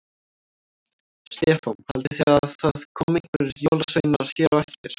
Stefán: Haldið þið að það komi einhverjir jólasveinar hér á eftir?